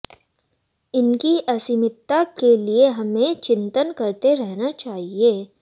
इनकी अस्मिता के लिए हमें चिंतन करते रहना चाहिए